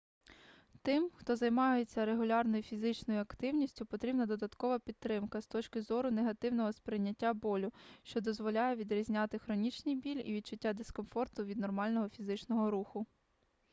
тим хто займається регулярною фізичною активністю потрібна додаткова підтримка з точки зору негативного сприйняття болю що дозволяє відрізняти хронічний біль і відчуття дискомфорту від нормального фізичного руху